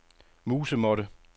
musemåtte